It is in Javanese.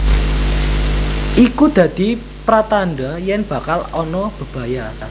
Iku dadi pratandha yen bakal ana bebaya